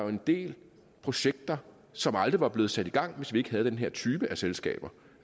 en del projekter som aldrig var blevet sat i gang hvis vi ikke havde den her type af selskaber